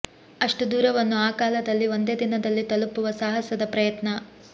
ಅಷ್ಟು ದೂರವನ್ನು ಆ ಕಾಲದಲ್ಲಿ ಒಂದೇ ದಿನದಲ್ಲಿ ತಲುಪುವ ಸಾಹಸದ ಪ್ರಯತ್ನ